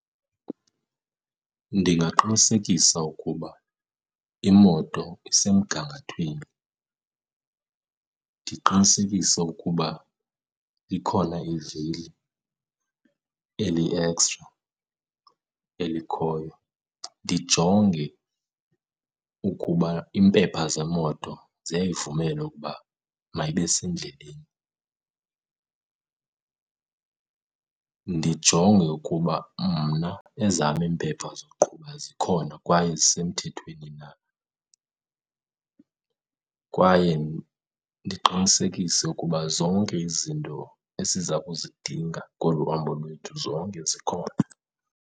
Ndingaqinisekisa ukuba imoto isemgangathweni, ndiqinisekise ukuba likhona ivili eli-extra elikhoyo. Ndijonge ukuba iimpepha zemoto ziyayivumela ukuba mayibe sendleleni, ndijonge ukuba mna ezam iimpepha zoqhuba zikhona kwaye zisemthethweni na, kwaye ndiqinisekise ukuba zonke izinto esiza kuzidinga kolu hambo lwethu zonke zikhona.